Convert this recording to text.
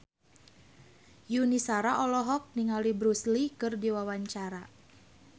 Yuni Shara olohok ningali Bruce Lee keur diwawancara